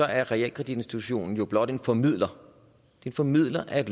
er realkreditinstituttet blot en formidler en formidler af